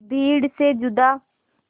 भीड़ से जुदा